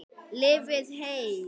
Lifið heil!